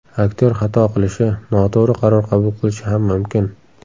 Aktyor xato qilishi, noto‘g‘ri qaror qabul qilishi ham mumkin.